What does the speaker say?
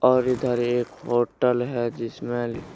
और इधर एक होटल है जिसमें लि--